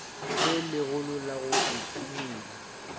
le legolo la go iphumola